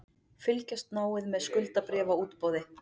Fylgjast náið með skuldabréfaútboði